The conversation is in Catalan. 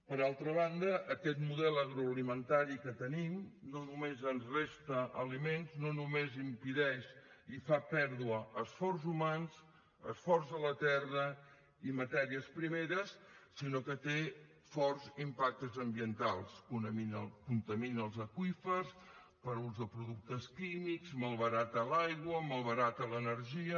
per altra banda aquest model agroalimentari que tenim no només ens resta aliments no només impedeix i fa perdre esforços humans esforç de la terra i matèries primeres sinó que té forts impactes ambientals contamina els aqüífers per ús de productes químics malbarata l’aigua malbarata l’energia